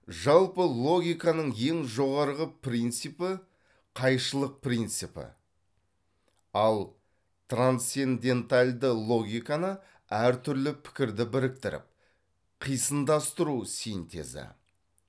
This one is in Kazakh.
жалпы логиканың ең жоғарғы принципі қайшылық принципі ал трансцендентальді логикані әр түрлі пікірді біріктіріп қисындастыру синтезі